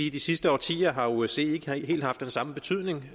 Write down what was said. i de sidste årtier har osce ikke helt haft den samme betydning